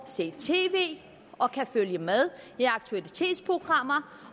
se tv og følge med i aktualitetsprogrammer